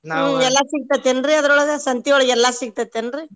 ಎಲ್ಲಾ ಸಿಗ್ತೆತಿ ಏನ್ರೀ ಅದರೊಳಗ ಸಂತಿಯೊಳಗ ಎಲ್ಲಾ ಸಿಗ್ತೆತಿ ಏನ್ರೀ?